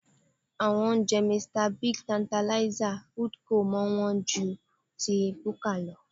Àwọn oúnjẹ Mr Biggs, Tertanlizer, Foodco máa ń wọ́n ju ti búkà lọ